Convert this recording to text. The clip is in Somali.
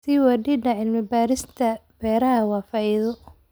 Sii wadida cilmi baarista beeraha waa faa'iido.